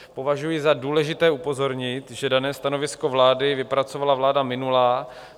Považuji za důležité upozornit, že dané stanovisko vlády vypracovala vláda minulá.